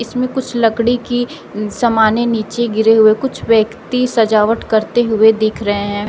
इसमें कुछ लकड़ी की समान है नीचे गिरे हुए कुछ व्यक्ति सजावट करते हुए दिख रहे हैं।